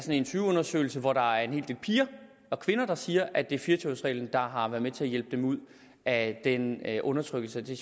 en interviewundersøgelse hvor der er en hel del piger og kvinder der siger at det er fire og tyve års reglen der har været med til at hjælpe dem ud af den undertrykkelse og det